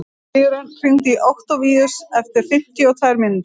Sigurörn, hringdu í Októvíus eftir fimmtíu og tvær mínútur.